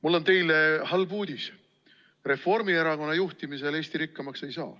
Mul on teile halb uudis: Reformierakonna juhtimisel Eesti rikkamaks ei saa.